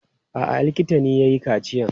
A'a, likita ne ya yi kaciyan.